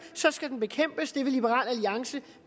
skal den bekæmpes det vil liberal alliance